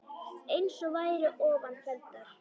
eins og væru ofan felldar